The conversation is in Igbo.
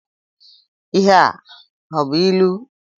Ihe a ọ bú ịlụ?